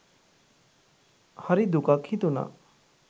හරි දුකක් හිතුනා.